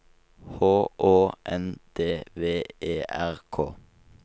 H Å N D V E R K